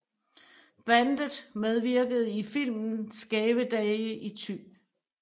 Bandet medvirkede i filmen Skæve dage i Thy